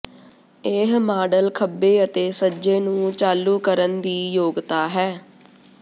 ਇਹ ਮਾਡਲ ਖੱਬੇ ਅਤੇ ਸੱਜੇ ਨੂੰ ਚਾਲੂ ਕਰਨ ਦੀ ਯੋਗਤਾ ਹੈ